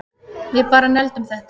Við bara negldum þetta